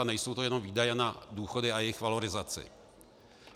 A nejsou to jenom výdaje na důchody a jejich valorizaci.